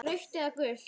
Rautt eða gult?